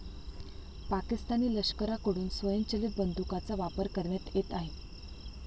पाकिस्तानी लष्कराकडून स्वयंचलित बंदूकांचा वापर करण्यात येत आहे.